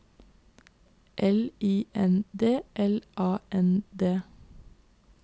L I N D L A N D